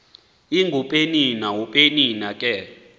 ingupenina upenina ke